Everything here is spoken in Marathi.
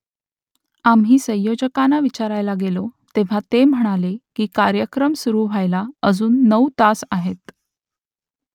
आम्ही संयोजकांना विचारायला गेलो तेव्हा ते म्हणाले की कार्यक्रम सुरू व्हायला अजून नऊ तास आहेत